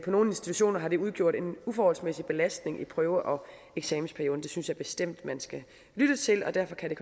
nogle institutioner har det udgjort en uforholdsmæssig belastning i prøve og eksamensperioden det synes jeg bestemt man skal lytte til og derfor kan det